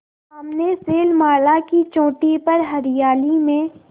सामने शैलमाला की चोटी पर हरियाली में